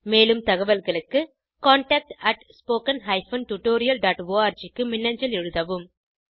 மேலும் தகவல்களுக்கு contactspoken tutorialorg க்கு மின்னஞ்சல் எழுதவும்